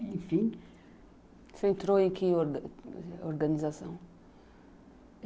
Enfim... Você entrou em que organização?